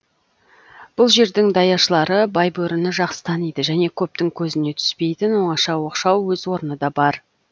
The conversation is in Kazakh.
бұл жердің даяшылары байбөріні жақсы таниды және көптің көзіне түспейтін оңаша оқшау өз орны да бар